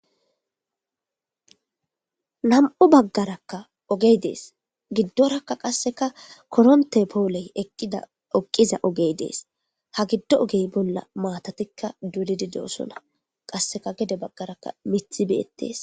Nam''u bagarakka ogeyi de'es.giddorakka qasekka korontte poleyi eqqidda eqiza ogeyi dees.haa gido ogeyi bolla qasi matatikka doliddi dosona .qasekka gede bagara miththi betees.